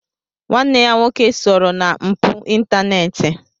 Nwanne ya nwoke sooro na mpụ ịntaneti.